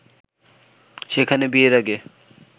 সেখানে বিয়ের আগে